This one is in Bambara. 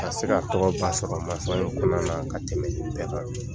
Ka se ka tɔgɔ ba sɔrɔ mansɔnya in kɔnɔna na ka tɛmɛ bɛɛ kan.